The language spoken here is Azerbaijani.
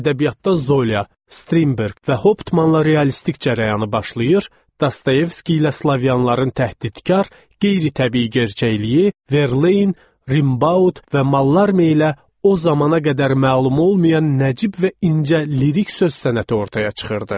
Ədəbiyyatda Zola, Strinberg və Hoptmanla realistik cərəyanı başlayır, Dostoyevski ilə slavyanların təhqirkar, qeyri-təbii gerçəkliyi, Verlaine, Rimbaut və Mallarme ilə o zamana qədər məlum olmayan nəcib və incə lirik söz sənəti ortaya çıxırdı.